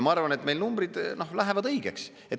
Ma arvan, et meil numbrid lähevad õigeks.